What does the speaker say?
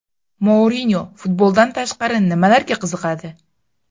Mourinyo futboldan tashqari nimalarga qiziqadi?